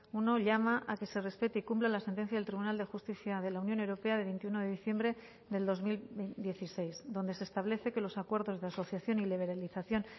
uno llama a que se respete y cumpla la sentencia del tribunal de justicia de la unión europea de veintiuno de diciembre del dos mil dieciséis donde se establece que los acuerdos de asociación y liberalización